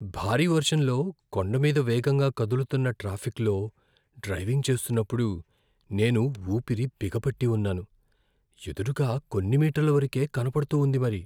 భారీ వర్షంలో కొండ మీద వేగంగా కదులుతున్న ట్రాఫిక్లో డ్రైవింగ్ చేస్తున్నప్పుడు నేను ఊపిరి బిగపట్టి ఉన్నాను! ఎదురుగా కొన్ని మీటర్ల వరకే కనపడుతూ ఉంది మరి.